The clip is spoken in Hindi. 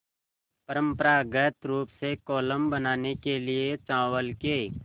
परम्परागत रूप से कोलम बनाने के लिए चावल के